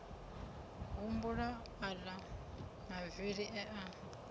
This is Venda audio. humbula aḽa mavili e a